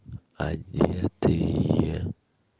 одетые